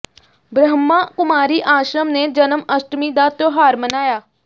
ਬ੍ਰਹਮਾ ਕੁਮਾਰੀ ਆਸ਼ਰਮ ਨੇ ਜਨਮ ਅਸ਼ਟਮੀ ਦਾ ਤਿਉਹਾਰ ਮਨਾਇਆ